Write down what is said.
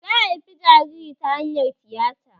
Ta haifi jaririn ta hanyar tiyata